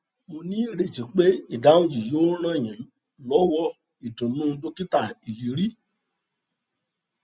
mo ní ìrètí pé ìdáhùn yìí yóò ràn yín lọwọìdùnnú dokita iliri